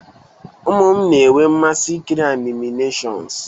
Ụmụ m na-enwe mmasị ikiri animation s